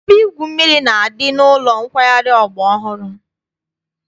Ebe igwu mmiri na-adị n'ụlọ nkwari ọgbara ọhụrụ.